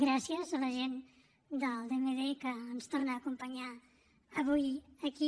gràcies a la gent del dmd que ens torna a acompanyar avui aquí